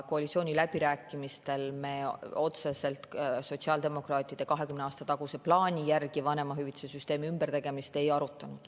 Koalitsiooniläbirääkimistel me otseselt sotsiaaldemokraatide 20 aasta taguse plaani järgi vanemahüvitise süsteemi ümbertegemist ei arutanud.